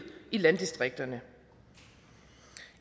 i landdistrikterne